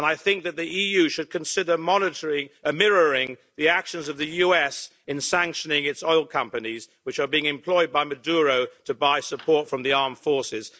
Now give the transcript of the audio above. I think that the EU should consider mirroring the actions of the US in sanctioning its oil companies, which are being employed by Maduro to buy support from the armed forces.